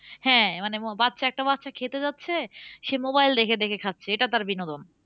হ্যাঁ মানে ম বাচ্চা একটা বাচ্চা খেতে যাচ্ছে সে mobile দেখে দেখে খাচ্ছে এটা তার বিনোদন